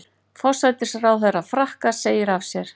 Forsætisráðherra Frakka segir af sér